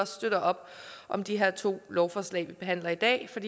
støtter op om de her to lovforslag vi behandler i dag for